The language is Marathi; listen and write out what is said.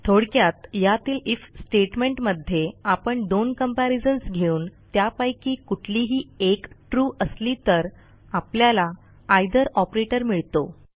थोडक्यात यातील आयएफ स्टेटमेंट मध्ये आपण दोन कंपॅरिझन्स घेऊन त्यापैकी कुठलीही एक ट्रू असली तर आपल्याला आयथर ऑपरेटर मिळतो